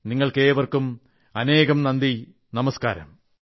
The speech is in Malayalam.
നിങ്ങൾക്കേവർക്കും അനേകം നന്ദി നമസ്കാരം